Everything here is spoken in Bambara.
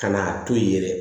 Ka n'a to yen yɛrɛ